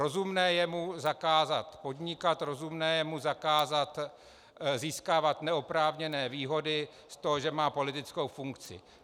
Rozumné je mu zakázat podnikat, rozumné je mu zakázat získávat neoprávněné výhody z toho, že má politickou funkci.